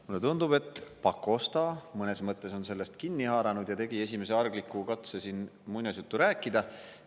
Mulle tundub, et Pakosta mõnes mõttes on sellest kinni haaranud ja tegi esimese argliku katse siin muinasjuttu rääkida.